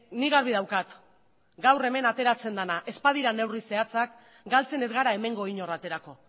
nik garbi daukat gaur hemen ateratzen dena ez badira neurri zehatzak galtzen ez gara hemengo inor aterako